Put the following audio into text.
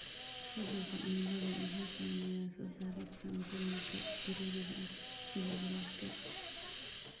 Isbeddelka cimiladu wuxuu saameeyaa soo saarista cuntooyinka daruuriga ah sida bariiska.